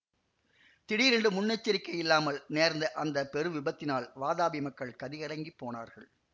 திடீரென்று முன்னெச்சரிக்கையில்லாமல் நேர்ந்த அந்த பெரு விபத்தினால் வாதாபி மக்கள் கதிகலங்கிப் போனார்கள்